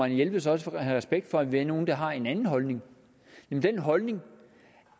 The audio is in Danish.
jelved også havde respekt for at vi er nogle der har en anden holdning nemlig den holdning